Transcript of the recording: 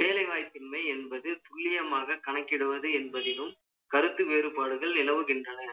வேலைவாய்ப்பின்மை என்பது துல்லியமாக கணக்கிடுவது என்பதிலும், கருத்து வேறுபாடுகள் நிலவுகின்றன.